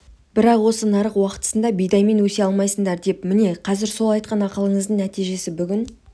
бірақ осы нарық уақытында бидаймен өсе алмайсыңдар деп міне қазір сол айтқан ақылыңыздың нәтижесі бүгін